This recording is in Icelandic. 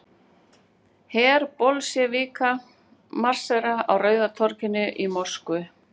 Her Bolsévíka marserar á Rauða torginu í Moskvu.